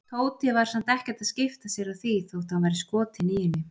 Tóti var samt ekkert að skipta sér af því þótt hann væri skotinn í henni.